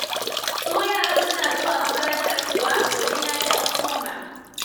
Su yaran suna zuwa makarantar kuwa, domin na ji an koma.